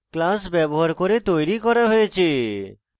এটি keyword class ব্যবহার করে তৈরী করা হয়েছে